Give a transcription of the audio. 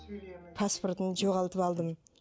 паспортын жоғалтып алдым